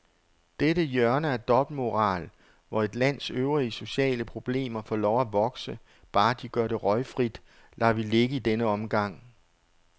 Dette hjørne af dobbeltmoral, hvor et lands øvrige sociale problemer får lov at vokse, bare de gør det røgfrit, lader vi ligge i denne omgang.